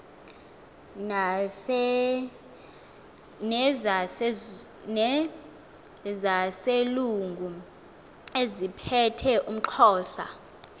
nezaselungu eziphethe umxhosa